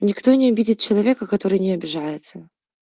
никто не обидит человека который не обижается